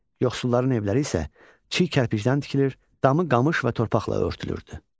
Yoxsulların evləri isə çiy kərpicdən tikilir, damı qamış və torpaqla örtülürdü.